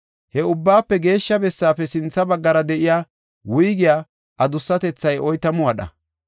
He Ubbaafe Geeshsha Bessaafe sintha baggara de7iya wuygiya adussatethay oytamu wadha.